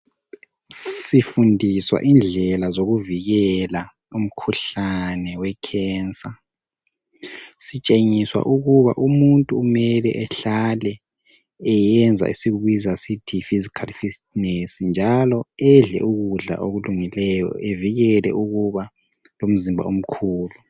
Sifundiswa indlela zokuvikela umkhuhlane wekhensa sitshengiswa ukuba umuntu kumele ehlale eyenza esikubiza sithi yi physical fitness njalo edle ukudla okulungeleyo evikele ukuba lomzimba omkhulu.